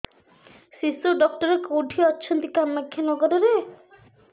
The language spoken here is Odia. ଶିଶୁ ଡକ୍ଟର କୋଉଠି ଅଛନ୍ତି କାମାକ୍ଷାନଗରରେ